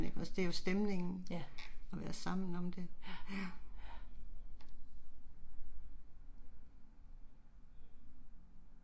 Ja, ja, ja